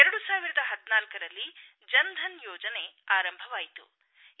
2014ರಲ್ಲಿ ಜನ್ಧನ್ ಯೋಜನೆ ಆರಂಭವಾಯಿತು